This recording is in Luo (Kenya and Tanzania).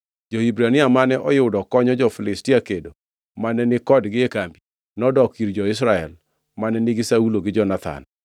Jo-Hibrania mane oyudo konyo jo-Filistia kedo mane ni kodgi e kambi, nodok ir jo-Israel mane nigi Saulo gi Jonathan.